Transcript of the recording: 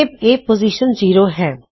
ਤੇ ਇਹ ਪੋਜ਼ਿਸ਼ਨ 0 ਹੈ